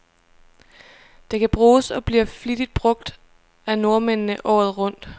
Det kan bruges, og bliver flittigt brug af nordmændene, året rundt.